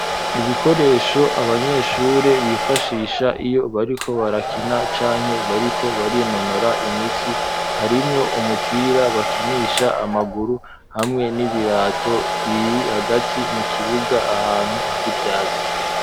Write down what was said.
Ibikoresho abanyeshuri bifashisha iyo bariko barakina canke bariko barinonora imitsi harimwo umupira bakinisha amaguru hamwe n'ibirato biri hagati mu kibuga ahantu hari ivyatsi